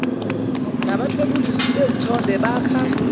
nabathwebuli bezithombe bakha